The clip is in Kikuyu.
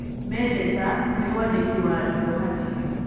Mendesa nĩ mwandĩki wa Ndohati.